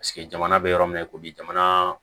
jamana bɛ yɔrɔ min ko bi jamana